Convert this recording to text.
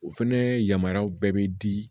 O fɛnɛ yamaruya bɛɛ bɛ di